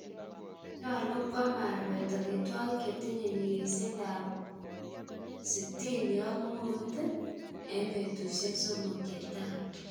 Nyolu kwam arwet omitwokik chetinye nyikisindo 65g en betusiek somok chetai.